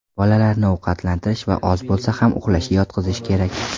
Bolalarni ovqatlantirish va oz bo‘lsa ham uxlashga yotqizish kerak.